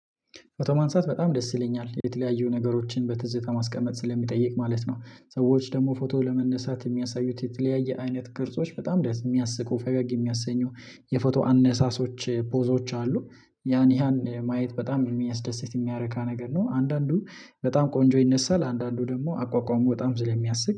ፎቶ ማንሳት በጣም ደስ ይለኛል የተለያዩ ነገሮችን በትዝታ ማስቀመጥ ስለሚጠይቅ ማለት ነው። ሰዎች ደግሞ ፎቶ ለመነሳት የሚያሳዩት የተለያየ አይነት ቅርጾች በጣም ደስ የሚያስቁ ፈገግ የሚያሰኙ የፎቶ አነሳሶች ፖዞች አሉ። ያን ያን ማየት በጣም የሚያስደስት የሚያረካ ነገር ነው። አንዳንዱ በጣም ቆንጆ ይነሳል አንዳንዱ ደግሞ አቋቋሙ በጣም ስለሚያስቅ